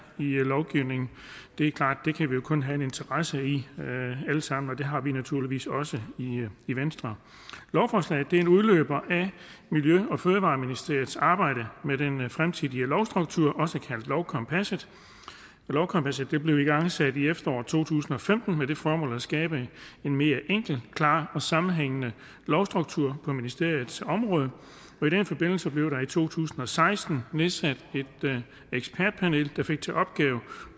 i lovgivningen det er klart at det kan vi kun have en interesse i alle sammen og det har vi naturligvis også i venstre lovforslaget er en udløber af miljø og fødevareministeriets arbejde med den fremtidige lovstruktur også kaldet lovkompasset lovkompasset blev igangsat i efteråret to tusind og femten med det formål at skabe en mere enkel klar og sammenhængende lovstruktur på ministeriets område og i den forbindelse blev der i to tusind og seksten nedsat et ekspertpanel der fik til opgave